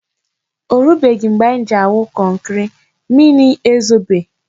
O rubeghị mgbe anyị ji awụ kọnkri, mmiri ezobe.